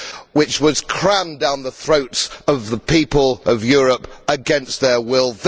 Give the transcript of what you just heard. which was rammed down the throats of the people of Europe against their will.